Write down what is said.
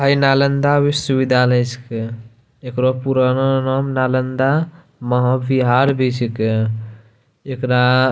आ इ नालंदा विश्वविद्यालय छके एकरो पुरानो नाम नालंदा महांविहार भि छिके एकरा --